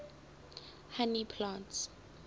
honey plants